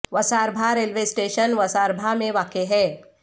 وسار بھا railway station وسار بھا میں واقع ہے